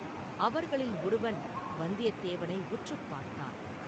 அவர்களில் ஒருவன் வந்தியத்தேவனை உற்றுப் பார்த்தான்.